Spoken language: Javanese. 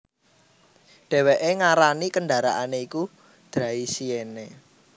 Dhèwèké ngarani kendaraané iku Draisienne